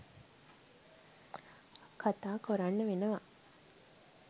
කතා කොරන්න වෙනවා.